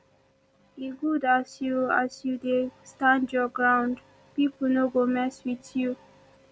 e good as you as you dey stand your ground pipo no go mess wit you